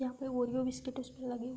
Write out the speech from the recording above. यहां पे Oreo biscuit उसपे लगे --